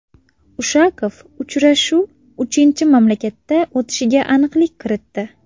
Ushakov, uchrashuv uchinchi mamlakatda o‘tishiga aniqlik kiritdi.